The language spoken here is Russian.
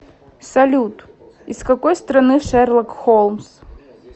салют из какой страны шерлок холмс